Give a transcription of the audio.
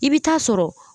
I bɛ taa sɔrɔ